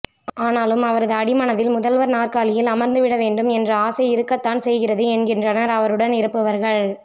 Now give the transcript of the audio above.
ஆனாலும் அவரது அடிமனதில் முதல்வர் நாற்காலியில் அமர்ந்து விட வேண்டும் என்ற ஆசை இருக்கத்தான் செய்கிறது என்கின்றனர் அவருடன் இருப்பவர்கள்